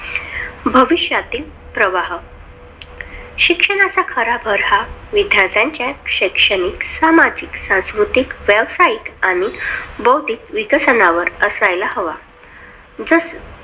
भविष्यातील प्रवाह. शिक्षणातील खरा विद्याथिर्च्या शैक्षणिक, सामाजिक, संस्कृती, व्यासायिक आणि बुद्धिक विकसनावर असायला हवा.